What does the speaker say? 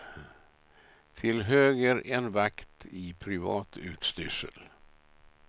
Till höger en vakt i privat utstyrsel.